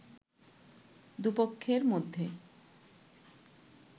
দুপক্ষের মধ্যে